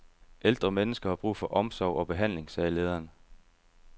Ældre mennesker har brug for omsorg og behandling, sagde lederen.